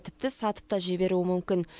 тіпті сатып та жіберуі мүмкін